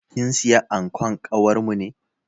Kin siya ankon kawarmu ne?